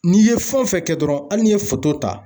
N'i ye fɛn o fɛn kɛ dɔrɔn hali n'i ye ta